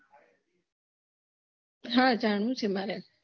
હા જાણવું શે મારે